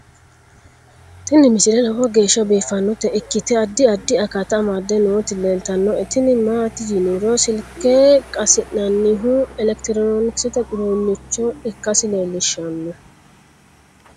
tini misile lowo geeshsha biiffannota ikkite addi addi akata amadde nooti leeltannoe tini maati yiniro silke qasi'nannihu elekitiroonkisete uduunnicho ikkasi leelishshanno .